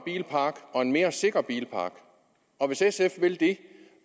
og mere sikker bilpark og hvis sf vil det